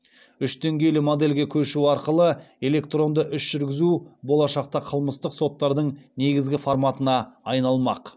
үш деңгейлі модельге көшу арқылы электронды іс жүргізу болашақта қылмыстық соттардың негізгі форматына айналмақ